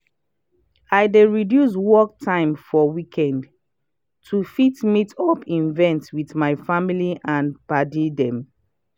i dey reduce work time for weekends to fit meet up events with my family and padi dem.